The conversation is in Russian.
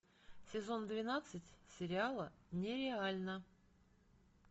сезон двенадцать сериала нереально